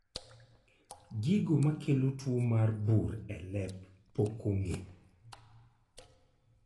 Gigo makelo tuo mar bur e lep pok ong'e